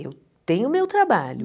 Eu tenho meu trabalho.